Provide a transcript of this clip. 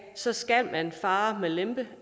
så skal man fare med lempe